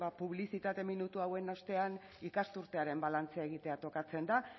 publizitate minutu hauen ostean ikasturtearen balantzea egitea tokatzen da